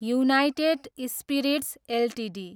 United spirits Ltd